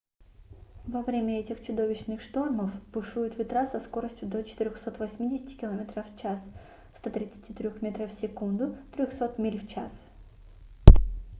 во время этих чудовищных штормов бушуют ветра со скоростью до 480 км/ч 133 м/с; 300 миль в час